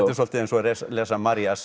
dálítið eins og að lesa